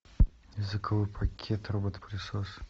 языковой пакет робот пылесос